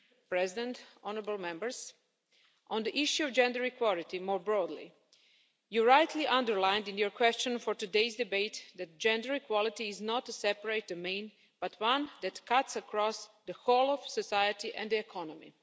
President, honourable Members, on the issue of gender equality more broadly, you rightly underlined in your question for today's debate that gender equality is not a separate domain, but one that cuts across the whole of society and the economy.